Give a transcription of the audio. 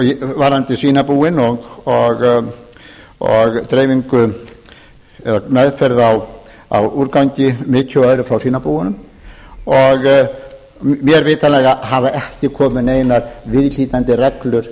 varðandi svínabúin og dreifingu eða meðferð á úrgangi mykju og öðru frá svínabúunum og mér vitanlega hafa ekki komið neinar viðhlítandi reglur